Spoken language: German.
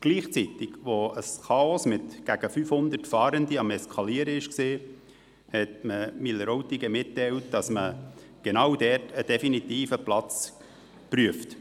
Gleichzeitig, als ein Chaos mit gegen 500 Fahrenden am Eskalieren war, hat man Wileroltigen mitgeteilt, dass man für genau dort einen definitiven Platz prüfe.